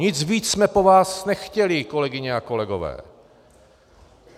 Nic víc jsme po vás nechtěli, kolegyně a kolegové.